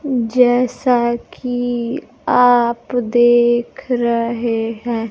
जैसा कि आप देख रहे है।